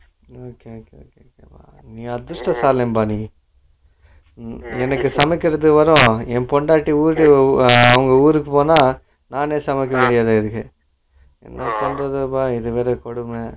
okay okay okay okay okay நீ அதிஷ்டகாரன்பா நீ silent என்னக்கு சமைக்குறதுவிட என் பொண்டாட்டி வுடு ஆஹா அவங்க ஊருக்கு போன நானும் சமைக்க முடியாது எனக்கு என்னா பன்றதுப்பா இது வேற கொடுமை